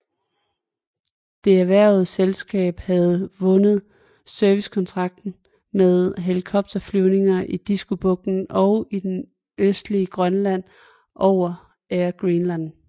Det erhvervede selskab havde vundet servicekontrakter med helikopterflyvninger i Diskobugten og i det østlige Grønland over Air Greenland